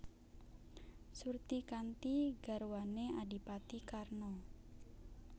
Surtikanti garwané Adhipati Karna